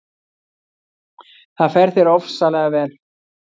Það fer þér ofsalega vel!